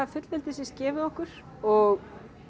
fullveldisins gefið okkur og